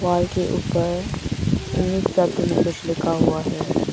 Wall के ऊपर English शब्द में कुछ लिखा हुआ है।